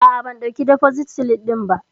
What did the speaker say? A'a bam ɗauki defosit silif ɗin ba